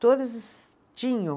Todos tinham.